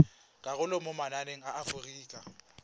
karolo mo mananeng a aforika